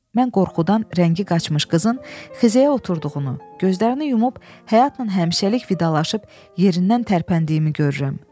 Mən qorxudan rəngi qaçmış qızın xizəyə oturduğunu, gözlərini yumub həyatla həmişəlik vidalaşıb yerindən tərpəndiyimi görürəm.